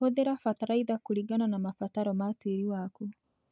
Hũthira bataraitha kũringana na mabataro ma tĩĩri waku.